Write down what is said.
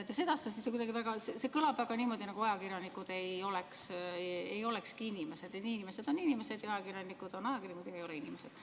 Teie sedastatu kõlas kuidagi niimoodi, nagu ajakirjanikud ei olekski inimesed – et inimesed on inimesed ja ajakirjanikud on ajakirjanikud, nad ei ole inimesed.